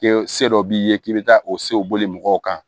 Kɛ se dɔ b'i ye k'i bɛ taa o sew boli mɔgɔw kan